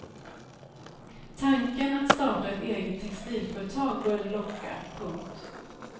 Tanken att starta ett eget textilföretag började locka. punkt